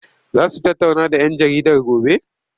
Za su tattauna da 'yan jaridar gobe?